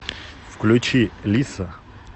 включи лисса